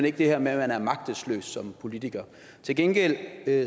ikke det her med at man er magtesløs som politiker til gengæld